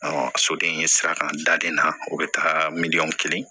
soden sira kan daden na o be taa miliyɔn kelen